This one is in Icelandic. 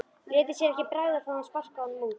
Léti sér ekki bregða þó að hann sparkaði honum út.